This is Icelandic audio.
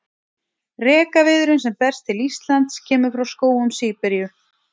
Rekaviðurinn sem berst til Íslands kemur frá skógum Síberíu.